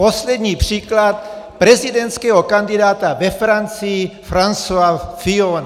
Poslední příklad prezidentského kandidáta ve Francii Francoise Fillona.